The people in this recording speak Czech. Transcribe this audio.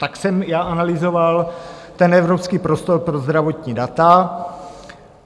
Tak jsem já analyzoval ten Evropský prostor pro zdravotní data.